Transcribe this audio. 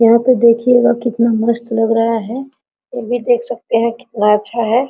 यहाँ पे देखिएगा कितना मस्त लग रहा है फिर भी देख सकते है कितना अच्छा है।